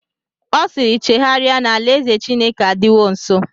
Ọ siiri, chegharịa na alaeze Chineke adịwo nsọ!